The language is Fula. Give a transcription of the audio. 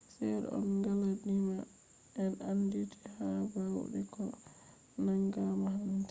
sedda on galadiima en andiiti ha baude ko nangama hande